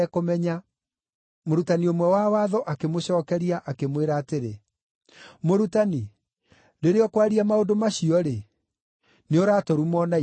Mũrutani ũmwe wa Watho akĩmũcookeria, akĩmwĩra atĩrĩ, “Mũrutani, rĩrĩa ũkwaria maũndũ macio-rĩ, nĩũratũruma o na ithuĩ.”